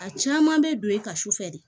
A caman bɛ don e ka sufɛ de